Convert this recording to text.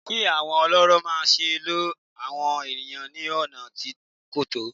Kí àwọn ọlọ́rọ̀ má se lo àwọn ènìyàn ní ọ̀nà tí kò tọ̀